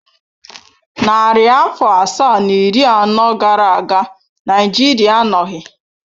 Narị afọ asaa na iri anọ gara aga Naịjirịa anọghị.